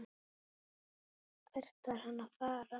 Hvert var hann að fara?